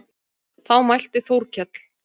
Þá mælti Þórkell